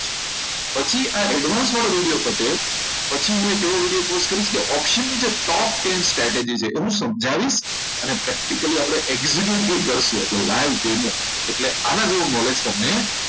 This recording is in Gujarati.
પછી આ advance વાળું જ્યારે પતે પછી હું એવો video એક post કરીશ કે option top ten strategies છે એને હું સમજાવીશ અને practically આપણે executive કરશો તો live demo એટલે આના જેવું knowledge તમને